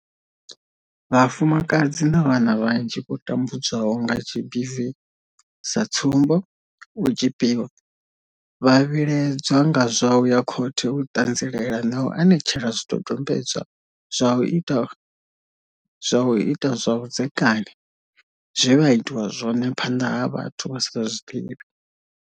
Vhafumakadzi na vhana vhanzhi vho tambudzwaho nga GBV, sa tsumbo, u tzhipiwa, vha vhilaedzwa nga zwa u ya khothe u ṱanzilela na u anetshela zwidodombedzwa zwa u ita zwa vhudzekani zwe vha itwa zwone phanḓa ha vhathu vha sa vha ḓivhi.